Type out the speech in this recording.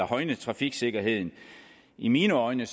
højne trafiksikkerheden i mine øjne